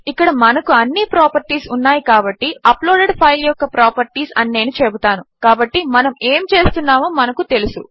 ఇక్కడ మనకు అన్ని ప్రాపర్టీస్ ఉన్నాయి కాబట్టి అప్లోడెడ్ ఫైల్ యొక్క ప్రాపర్టీస్ అని నేను చెబుతాను కాబట్టి మనము ఏమి చేస్తున్నామో మనకు తెలుసు